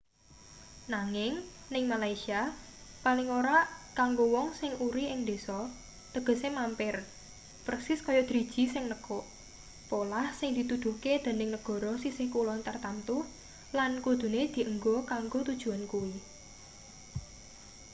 nanging ning malaysia paling ora kanggo wong sing uri ing ndesa tegese mampir persis kaya driji sing nekuk polah sing dituduhke dening negara sisih kulon tartamtu lan kudune dienggo kanggo tujuan kuwi